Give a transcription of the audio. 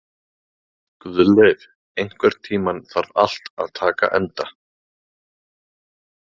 Guðleif, einhvern tímann þarf allt að taka enda.